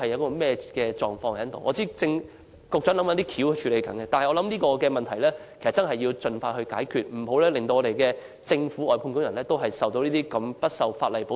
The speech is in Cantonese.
我知道局長正在研究方法加以處理，但我認為這個問題必須盡快解決，以免連政府外判工人也得不到法律保障。